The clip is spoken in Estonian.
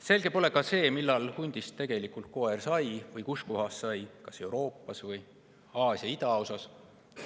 Selge pole seega see, millal hundist tegelikult koer sai, ega ka mitte see, kus kohas sai: kas Euroopas või Aasia idaosas.